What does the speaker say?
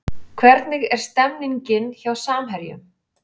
Hvernig er stemningin hjá Samherjum?